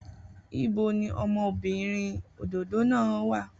Ibo ni ọmọbìnrin òdòdó náà wà?